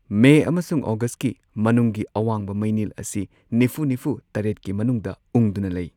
ꯃꯦ ꯑꯃꯁꯨꯡ ꯑꯣꯒꯁꯠꯀꯤ ꯃꯅꯨꯡꯒꯤ ꯑꯋꯥꯡꯕ ꯃꯩꯅꯤꯜ ꯑꯁꯤ ꯅꯤꯐꯨ ꯅꯤꯐꯨ ꯇꯔꯦꯠꯀꯤ ꯃꯅꯨꯡꯗ ꯎꯪꯗꯨꯅ ꯂꯩ꯫